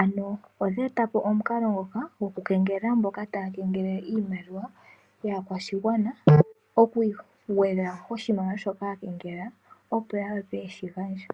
Ano odhe etapo omukalo ngoka goku kengelela mboka taya kengelele iimaliwa yaakwashigwana oku gwedha koshimaliwa shoka ya kengelela opo ya wape yeshi gandje.